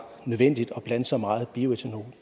nødvendigt at blande så meget bioethanol